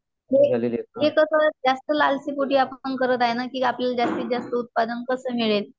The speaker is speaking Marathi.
हे तर सर जास्त लालसेपोटी आपण करत आहे ना कि आपल्याला जास्तीत जास्त उत्पादन कस मिळेल.